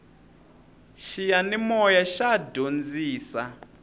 xiyanimoya xa dyondzisa